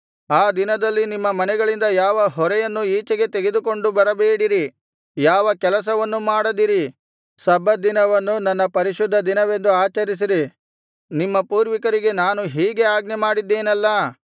ಆ ದಿನದಲ್ಲಿ ನಿಮ್ಮ ಮನೆಗಳಿಂದ ಯಾವ ಹೊರೆಯನ್ನೂ ಈಚೆಗೆ ತೆಗೆದುಕೊಂಡು ಬರಬೇಡಿರಿ ಯಾವ ಕೆಲಸವನ್ನೂ ಮಾಡದಿರಿ ಸಬ್ಬತ್ ದಿನವನ್ನು ನನ್ನ ಪರಿಶುದ್ಧ ದಿನವೆಂದು ಆಚರಿಸಿರಿ ನಿಮ್ಮ ಪೂರ್ವಿಕರಿಗೆ ನಾನು ಹೀಗೆ ಆಜ್ಞೆಮಾಡಿದೆನಲ್ಲಾ